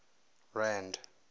rand